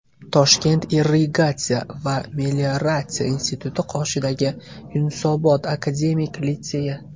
Toshkent irrigatsiya va melioratsiya instituti qoshidagi Yunusobod akademik litseyi.